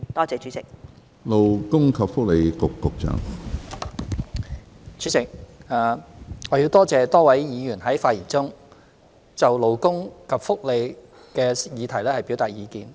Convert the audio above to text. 主席，多謝多位議員在發言中就勞工及福利的議題表達意見。